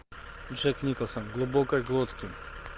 джек николсон в глубокой глотке